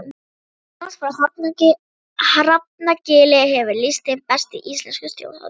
Jónas frá Hrafnagili hefur lýst þeim best í Íslenskum þjóðháttum.